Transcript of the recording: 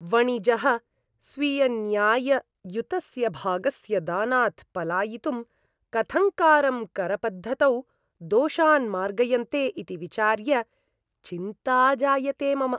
वणिजः स्वीयन्याय्ययुतस्य भागस्य दानात् पलायितुं कथङ्कारं करपद्धतौ दोषान् मार्गयन्ते इति विचार्य चिन्ता जायते मम।